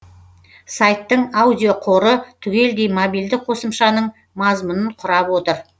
сайттың аудиоқоры түгелдей мобильді қосымшаның мазмұнын құрап отыр